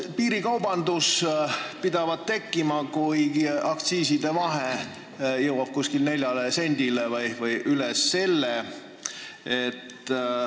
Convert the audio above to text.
Piirikaubandus pidavat tekkima, kui aktsiiside vahe jõuab nelja sendini või üle selle.